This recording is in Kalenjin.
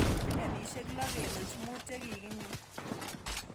Billionishek 6.5 che ki nyor..